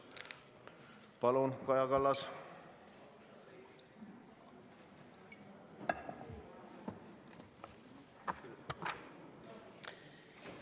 Palun, Kaja Kallas!